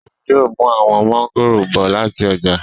Remi yóò mú àwọn mọ́ngòrò bọ̀ láti ọjà